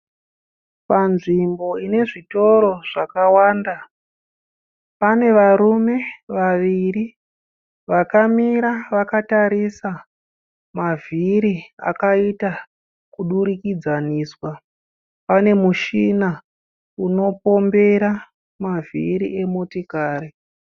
Panzvimbo ine zvitoro zvakawanda pane varume vaviri vakamira vakatarisa mavhiri akaita kudurikidzaniswa, pane mushini unopombera mavhiri emotokari.